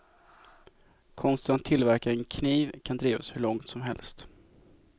Konsten att tillverka en kniv kan drivas hur långt som helst.